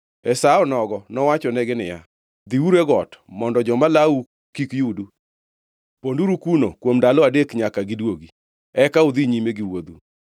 E sa onogo nowachonegi niya, “Dhiuru e got mondo joma lawou kik yudu. Ponduru kuno kuom ndalo adek nyaka giduogi; eka udhi nyime giwuodhu.”